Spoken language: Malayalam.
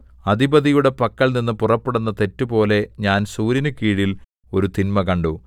അധിപതിയുടെ പക്കൽനിന്ന് പുറപ്പെടുന്ന തെറ്റുപോലെ ഞാൻ സൂര്യനുകീഴിൽ ഒരു തിന്മ കണ്ടു